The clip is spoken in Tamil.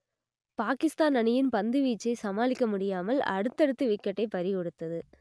பாகிஸ்தான் அணியின் பந்துவீச்சை சமாளிக்க முடியாமல் அடுத்தடுத்து விக்கெட்டை பறிகொடுத்தது